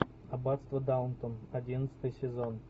аббатство даунтон одиннадцатый сезон